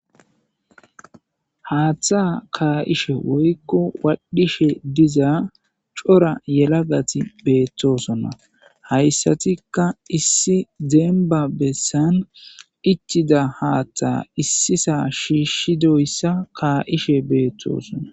Haaththa kaa'ishe woykko waadhishe diza cora yelagati beettosonna hayssatikka issi deemba bessan ichida haaththa issisa shiishshidoyssa kaa'ishe beettoosonna.